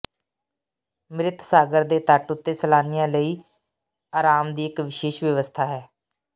ਮ੍ਰਿਤ ਸਾਗਰ ਦੇ ਤੱਟ ਉੱਤੇ ਸੈਲਾਨੀਆਂ ਲਈ ਅਰਾਮ ਦੀ ਇੱਕ ਵਿਸ਼ੇਸ਼ ਵਿਵਸਥਾ ਹੈ